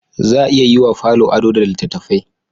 Za a iya yi wa falo ado da littattafai